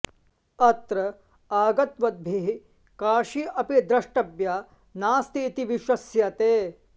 अत्र आगतवद्भिः काशी अपि द्रष्टव्या नास्ति इति विश्वस्यते